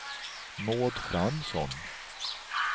Maud Fransson